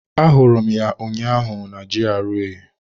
Ahụrụ m ya ụnyaahụ na GRA.